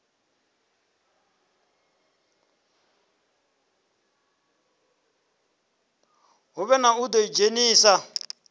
hu vhe na u ḓidzhenisa